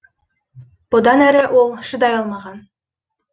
бұдан әрі ол шыдай алмаған